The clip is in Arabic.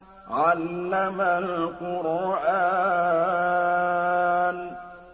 عَلَّمَ الْقُرْآنَ